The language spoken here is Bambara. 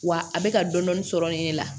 Wa a bɛ ka dɔni dɔni sɔrɔ nin ne la